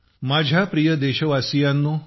माझ्या प्रिय देशवासियांनो